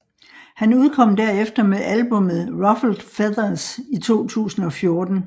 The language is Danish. Han udkom derefter med albummet Ruffled Feathers i 2014